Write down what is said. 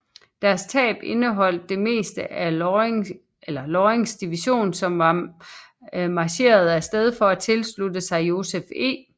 Deres tab indeholdt det meste af Lorings division som var marcheret af sted for at tilslutte sig Joseph E